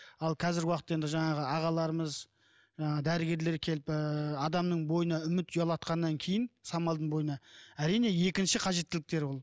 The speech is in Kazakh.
ал қазіргі уақытта енді жаңағы ағаларымыз жаңағы дәрігерлер келіп ыыы адамның бойына үміт ұялатқаннан кейін самалдың бойына әрине екінші қажеттіліктер ол